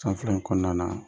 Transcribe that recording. San fila in kɔnɔna na